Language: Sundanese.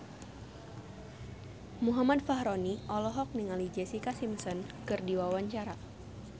Muhammad Fachroni olohok ningali Jessica Simpson keur diwawancara